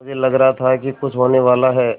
मुझे लग रहा था कि कुछ होनेवाला है